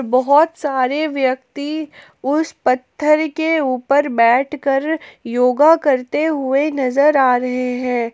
बहोत सारे व्यक्ति उस पत्थर के ऊपर बैठ कर योगा करते हुए नजर आ रहे हैं।